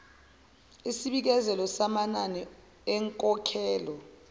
isibikezelo samanani enkokhelo